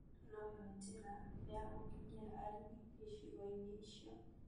ĩno no yo njĩra ya gũkinyĩra arĩmi icigo-inĩ icio